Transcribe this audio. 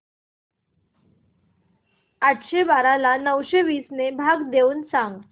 आठशे बारा ला नऊशे वीस ने भाग देऊन सांग